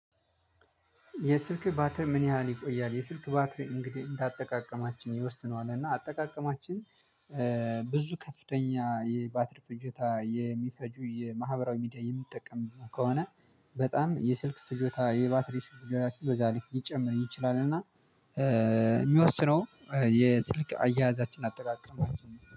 የስልክ ባትሪ ምን ያህል ይቆያል? የስልክ ባትሪ እንግዲህ እንዳጠቃቀማችን ይወስነዋል እና አጠቃቀማችን። ብዙ ከፍተኛ የባትሪ ፍጆታ የሚፈጁ የማህበራዊ ሚዲያ የምትጠቀም ከሆነ በጣም የስልክ ፍጆታ የባትሪ ስልክ ያላችሁ በዛ ሊጨምር ይችላል። እና የሚወስነው የስልክ አያያዛችን አጠቃቀም